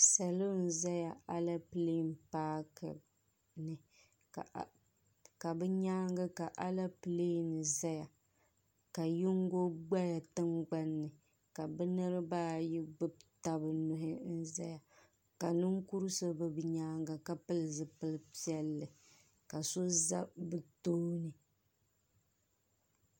salo n-zaya Aleepile paaki ni ka bɛ nyaaŋa ka Aleepile n-zaya ka yingo gbaya tiŋgbani ka bɛ niriba ayi gbubi taba nuhi n-zaya ka ninkur' so be bɛ nyaaŋa ka pili zupil' piɛlli ka so za bɛ tooni.